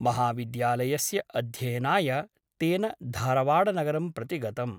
महाविद्यालयस्य अध्ययनाय तेन धारवाडनगरं प्रति गतम् ।